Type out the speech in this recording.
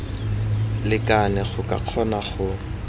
lekane go ka kgona go